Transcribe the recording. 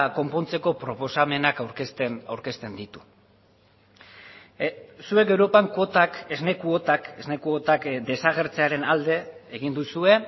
konpontzeko proposamenak aurkezten aurkezten ditu zuek europan kuotak esne kuotak esne kuotak desagertzearen alde egin duzue